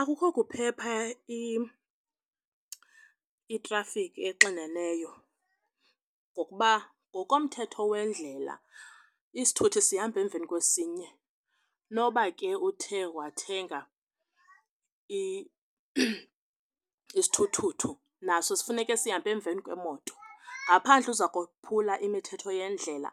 Akukho kuphepha itrafikhi exineneyo ngokuba ngokomthetho wendlela isithuthi sihamba emveni kwesinye noba ke uthe wathenga isithuthuthu naso sifuneke sihambe emveni kweemoto. Ngaphandle uza kophula imithetho yendlela